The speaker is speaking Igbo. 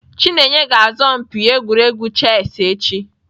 Chineye ga-asọ mpi egwuregwu chess echi.